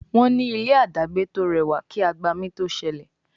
Wón ní ilé dagbe to rẹwà kí agbami to sẹlẹ